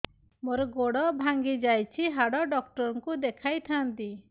ମୋର ଗୋଡ ଭାଙ୍ଗି ଯାଇଛି ହାଡ ଡକ୍ଟର ଙ୍କୁ ଦେଖେଇ ଥାନ୍ତି